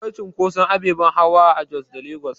Akwai cunkotson ababen hawa a Jos da Lagos